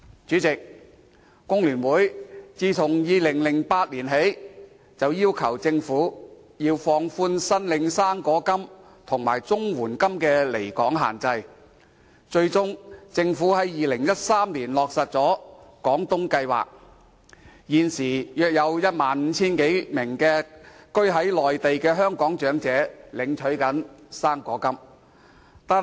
主席，工聯會自2008年起，便要求政府放寬領取"生果金"及綜合社會保障援助的離港限制，最終，政府在2013年落實了廣東計劃，現時約有 15,000 多名居於內地的香港長者領取"生果金"。